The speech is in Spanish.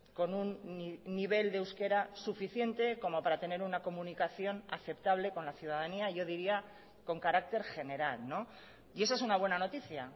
con un nivel de euskera suficiente como para tener una comunicación aceptable con la ciudadanía yo diría con carácter general y esa es una buena noticia